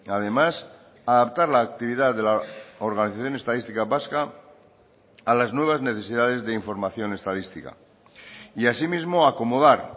además adaptar la actividad de la organización estadística vasca a las nuevas necesidades de información estadística y asimismo acomodar